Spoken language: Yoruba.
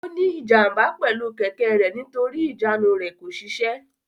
Ó ní ìjàm̀bá pẹ̀lú kẹ̀kẹ́ rẹ̀ nítorí ìjánu rẹ̀ kò ṣiṣẹ́.